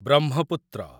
Brahmaputra